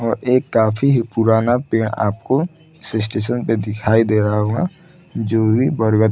और एक काफी पुराना पेड़ आपको पे दिखाई दे रहा होगा जो की बरगद --